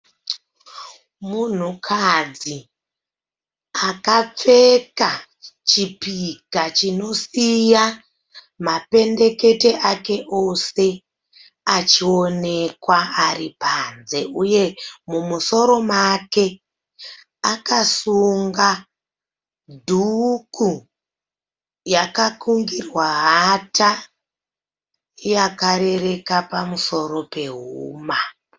Munhukadzi akapfeka chipika chinosiya mapendekete ake ose achionekwa ari panze uye mumusoro make akasunga dhuku yakakungirwa hata yakarereka pamusoro pehuma.